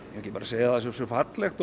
ekki bara að segja að það sé svo fallegt og